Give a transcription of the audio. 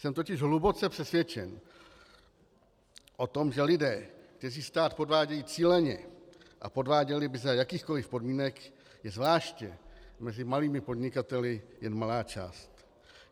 Jsem totiž hluboce přesvědčen o tom, že lidí, kteří stát podvádějí cíleně a podváděli by za jakýchkoli podmínek, je zvláště mezi malými podnikateli jen malá část.